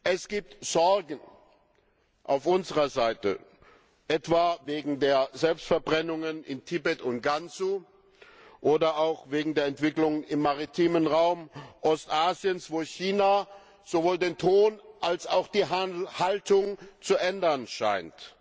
Es gibt Sorgen auf unserer Seite, etwa wegen der Selbstverbrennungen in Tibet und Gansu, oder auch wegen der Entwicklung im maritimen Raum Ostasiens, wo China sowohl den Ton als auch die Haltung zu ändern scheint.